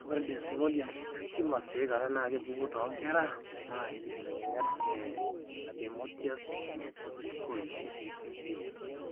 Ore Desmoid tumors tiaikata na kepuku tonkera na inkibelekenyat e adenomatous polyposis coli (APC) gene.